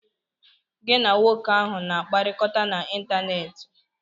Gị na nwoke ahụ na-akpakorịta n'ịntanetị?